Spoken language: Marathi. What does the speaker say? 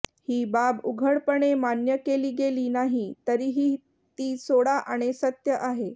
ही बाब उघडपणे मान्य केली गेली नाही तरीही ती सोळा आणे सत्य आहे